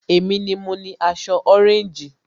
Èmi ni mo ni aṣọ ọréńjì